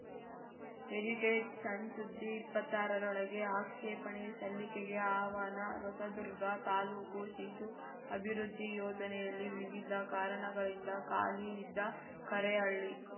edited ಸಣ್‌ ಸುದ್ದಿ ಇಪ್ಪತ್ತಾರರೊಳಗೆ ಆಕ್ಷೇಪಣೆ ಸಲ್ಲಿಕೆಗೆ ಆಹ್ವಾನ ಹೊಸದುರ್ಗ ತಾಲೂಕು ಶಿಶು ಅಭಿವೃದ್ಧಿ ಯೋಜನೆಯಲ್ಲಿ ವಿವಿಧ ಕಾರಣಗಳಿಂದ ಖಾಲಿ ಇದ್ದ ಕರೇಹಳ್ಳಿ